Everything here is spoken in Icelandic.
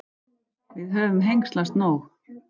Við höfum hengslast nóg.